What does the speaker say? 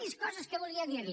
més coses que volia dir li